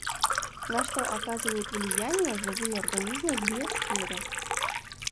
на что оказывают влияние живые организмы в биосфере